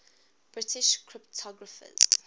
british cryptographers